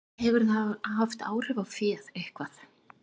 Hefur það haft áhrif á féð, eitthvað?